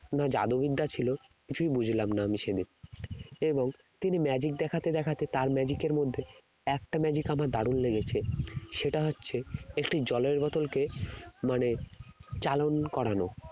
না জাদুবিদ্যা ছিল কিছুই বুঝলাম না আমি সে দিন এবং তিনি magic দেখাতে দেখাতে তার magic এর মধ্যে একটা magic আমার দারুন লেগেছে সেটা হচ্ছে একটি জলের বোতলকে মানে চালন করানো